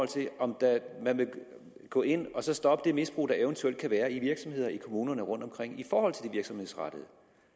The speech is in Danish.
til om man vil gå ind og så stoppe det misbrug der eventuelt kan være i virksomheder i kommunerne rundtomkring i forhold til den virksomhedsrettede